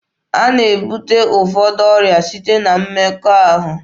A na-ebute ụfọdụ ọrịa site na mmekọahụ.